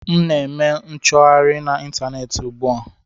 M na-eme nchọgharị na ịntaneetị ugbu a